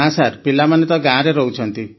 ନା ସାର୍ ପିଲାମାନେ ତ ଗାଁ ରେ ରହୁଛନ୍ତି